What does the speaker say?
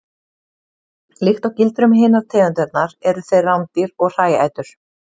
Líkt og gildir um hinar tegundirnar eru þeir rándýr og hræætur.